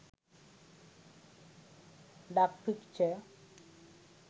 duck picture